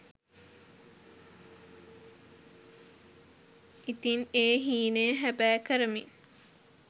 ඉතින් ඒ හීනය හැබෑ කරමින්